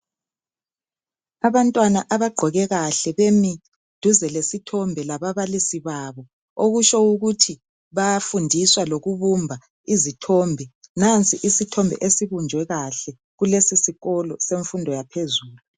Abantwana abagqoke kahle bemi duze lesithombe lababalisi babo, okutsho ukuthi bayafundiswa lokubumba izithombe. Nansi isithombe esibunjwe kahle kulesi sikolo semfundo yaphezulu.